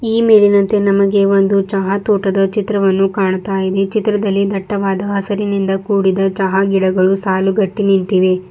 ಈ ಮೇಲಿನಂತೆ ನಮಗೆ ಒಂದು ಚಹಾ ತೋಟದ ಚಿತ್ರವನ್ನು ಕಾಣ್ತಾ ಇದೆ ಚಿತ್ರದಲ್ಲಿ ದಟ್ಟವಾದ ಹಸಿರಿನಿಂದ ಕೂಡಿದ ಚಹಾ ಗಿಡಗಳು ಸಾಲುಗಟ್ಟಿ ನಿಂತಿವೆ.